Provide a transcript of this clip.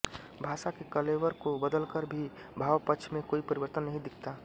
भाषा के कलेवर को बदलकर भी भावपक्ष में कोई परिवर्तन नहीं दीखता